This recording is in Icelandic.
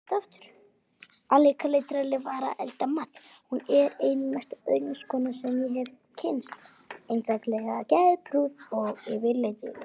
Hún er ein mesta öðlingskona sem ég hef kynnst, einstaklega geðprúð og yfirlætislaus.